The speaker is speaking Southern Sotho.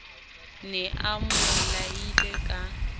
ne a mo laile ka